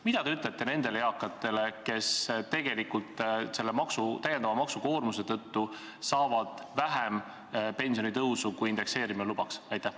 Mida te ütlete nendele eakatele, kes tegelikult selle lisamaksukoormuse tõttu saavad väiksema pensionitõusu, kui indekseerimine lubaks?